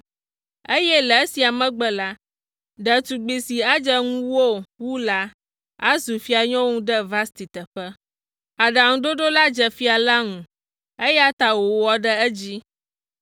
eye le esia megbe la, ɖetugbi si adze ŋuwò wu la, azu fianyɔnu ɖe Vasti teƒe.” Aɖaŋuɖoɖo la dze fia la ŋu, eya ta wòwɔ ɖe edzi.